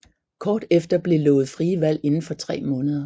Kort efter blev lovet frie valg inden for tre måneder